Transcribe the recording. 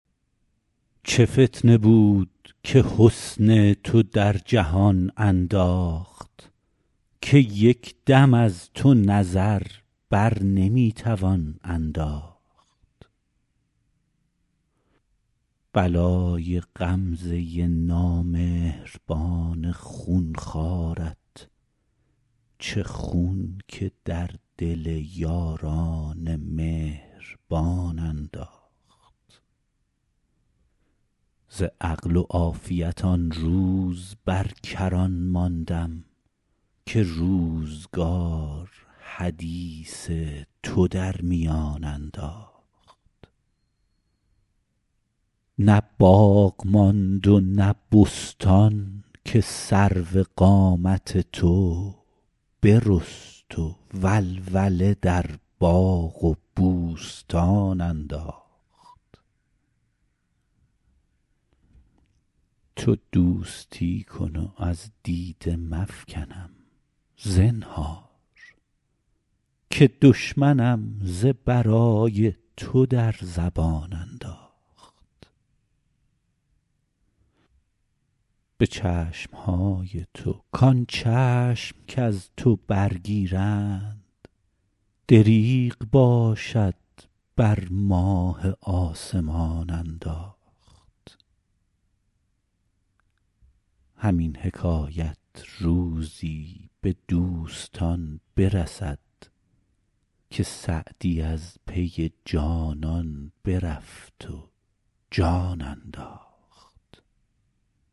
چه فتنه بود که حسن تو در جهان انداخت که یک دم از تو نظر بر نمی توان انداخت بلای غمزه نامهربان خون خوارت چه خون که در دل یاران مهربان انداخت ز عقل و عافیت آن روز بر کران ماندم که روزگار حدیث تو در میان انداخت نه باغ ماند و نه بستان که سرو قامت تو برست و ولوله در باغ و بوستان انداخت تو دوستی کن و از دیده مفکنم زنهار که دشمنم ز برای تو در زبان انداخت به چشم های تو کان چشم کز تو برگیرند دریغ باشد بر ماه آسمان انداخت همین حکایت روزی به دوستان برسد که سعدی از پی جانان برفت و جان انداخت